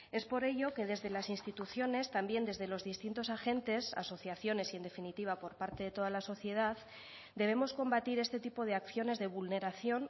es por ello que desde las instituciones también desde los distintos agentes asociaciones y en definitiva por parte de toda la sociedad debemos combatir este tipo de acciones de vulneración